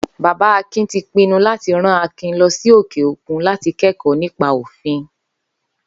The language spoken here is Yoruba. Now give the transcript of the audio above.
Bàbá Akin ti pinnu láti rán Akin lo̩ sí òkè-òkun láti ké̩kò̩ó̩ nípa òfin